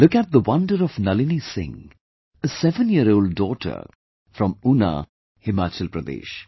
Look at the wonder of Nalini Singh, a 7yearold daughter from Una, Himachal Pradesh